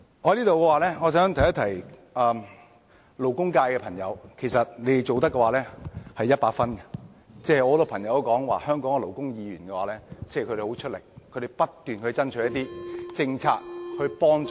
我想在此提醒勞工界的朋友，你們已做到100分，很多朋友都說勞工界的議員很努力，不斷爭取一些政策來幫助勞工。